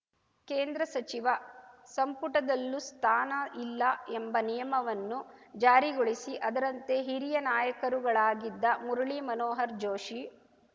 ಕೇಂದ್ರ ಸಚಿವ ಸಂಪುಟದಲ್ಲೂ ಸ್ಥಾನ ಇಲ್ಲ ಎಂಬ ನಿಯಮವನ್ನು ಜಾರಿಗೊಳಿಸಿ ಅದರಂತೆ ಹಿರಿಯ ನಾಯಕರುಗಳಾಗಿದ್ದ ಮುರುಳಿ ಮನೋಹರ್ ಜೋಷಿ